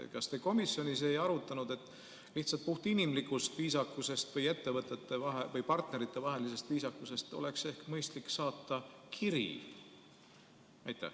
Kas te komisjonis ei arutanud, et lihtsalt puhtinimlikust või partneritevahelisest viisakusest oleks ehk mõistlik saata kiri?